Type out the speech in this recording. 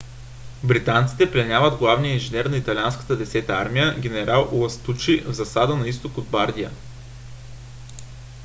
британците пленяват главния инженер на италианската десета армия генерал ластучи в засада на изток от бардия